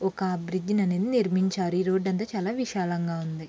ఒక బ్రిడ్జి ని అనేది చేస్తున్నారు. ఈ రోడ్ అంత కూడా విశాలంగా ఉంది.